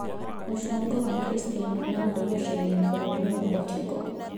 Mũcongo wa Christian Ronaldo gũcenio bũrũri wa Portugal